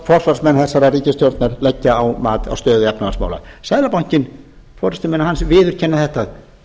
forsvarsmenn þessarar ríkisstjórnar leggja á mat á stöðu efnahagsmála seðlabankinn forustumenn hans viðurkenna þetta